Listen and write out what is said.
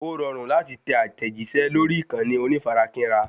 Ó rọrùn láti tẹ àtẹ̀jíṣẹ́ lórí ìkànnì onífarakínra